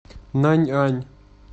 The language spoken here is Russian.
наньань